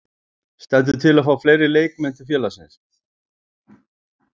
Stendur til að fá fleiri leikmenn til félagsins?